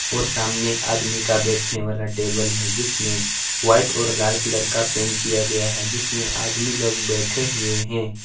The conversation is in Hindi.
और सामने आदमी का बैठने वाला टेबल है जिसमें व्हाइट और लाल कलर का पेंट किया गया है जिसमें आदमी लोग बैठे हुए है।